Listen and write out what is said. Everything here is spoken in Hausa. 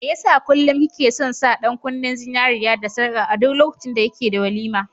Mai yasa kullum ki ke son sa ɗan kunnen zinariya da sarka a duk lokacin da kike da walima?